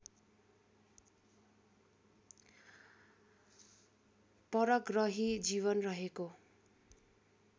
परग्रही जीवन रहेको